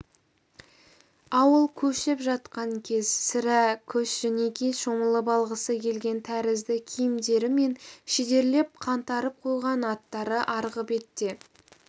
ауыл көшіп жатқан кез сірә көшжөнекей шомылып алғысы келген тәрізді киімдері мен шідерлеп қаңтарып қойған аттары арғы бетте